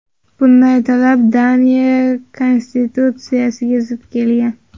Bunday talab Daniya konstitutsiyasiga zid kelgan.